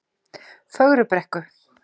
Fögrubrekku